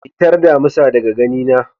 Fitar damisa daga gani na.